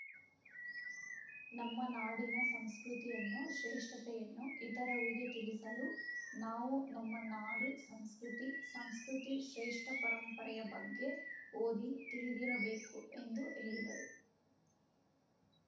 ನಮ್ಮ ನಾಡಿನ ಸಂಸ್ಕೃತಿಯನ್ನು ಶ್ರೇಷ್ಟತೆಯನ್ನು ಇತರರಿಗೆ ತಿಳಿಸಲು ನಾವು ನಮ್ಮ ನಾಡು ಸಂಸ್ಕೃತಿ ಸಂಸ್ಕೃತಿ ಶ್ರೇಷ್ಟಪರಂಪರೆಯ ಬಗ್ಗೆ ಓದಿ ತಿಳಿದಿರಬೇಕು ಎಂದು ಹೇಳಿದರು